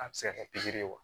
A bɛ se ka kɛ pikiri ye wa